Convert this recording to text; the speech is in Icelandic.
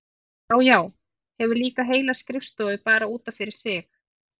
Já, já, hefur líka heila skrifstofu bara út af fyrir sig!